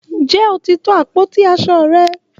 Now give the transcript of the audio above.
Nje o ti to àpótí aṣo rẹ?